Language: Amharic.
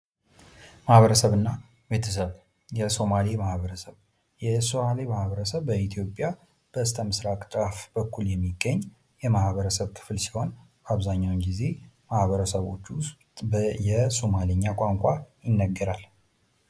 ማህበረሰብ እና ቤተሰብ፡-የሱማሊ ማህበረሰብ በኢትዮጵያ በስተ ምስራቅ ጫፍ በኩል የሚገኝ የህብረተሰብ ክፍል ሲሆን አብዛኛውን ጊዜ ማህበረሰቦቹ የሶማሊኛ ቋንቋ ይናገራሉ።